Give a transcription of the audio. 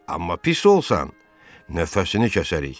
Amma pis olsan, nəfəsini kəsərik.